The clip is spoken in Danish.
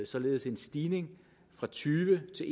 således en stigning fra tyve til